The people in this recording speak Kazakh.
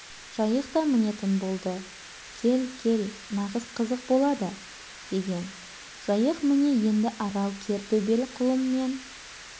жайық та мінетін болды кел-кел нағыз қызық болады деген жайық міне енді арал кер төбел құлынмен